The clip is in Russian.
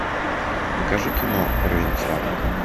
покажи кино провинциалка